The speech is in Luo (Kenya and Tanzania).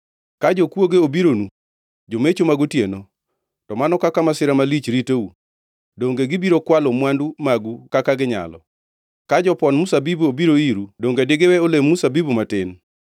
“Ka jokwoge obironu, jomecho mag otieno, to mano kaka masira malich ritou, donge gibiro kwalo mwandu magu kaka ginyalo? Ka jopon mzabibu obiro iru donge digiwe olemb mzabibu matin?